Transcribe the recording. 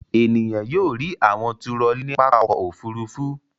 Ènìyàn yóò rí àwọn turọlí ní pápá ọkọ̀-òfurufú.